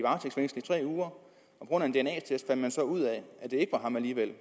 tre uger på grund af en dna test fandt man så ud af at det alligevel